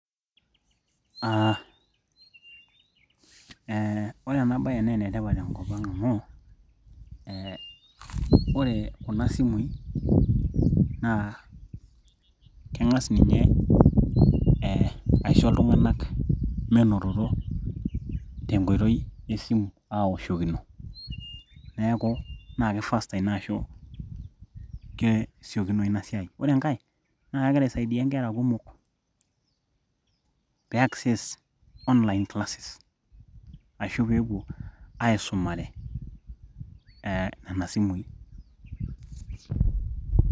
Aaa eee ore enabaye naa enetipat tenkop ang' amu ee ore kuna simui naa keng'as ninye ee aisho iltung'anak menototo tenkoitoi esimu aawoshokino neeku naa kei faster ina ashu kesiokinoyu ina siai, oore enkae naa kegira aisaidia inkera kumok pee access online classes ashuu peepuo aisumare ee nena simui .